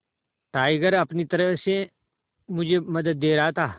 tiger अपनी तरह से मुझे मदद दे रहा था